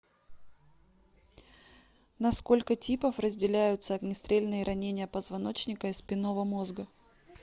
на сколько типов разделяются огнестрельные ранения позвоночника и спинного мозга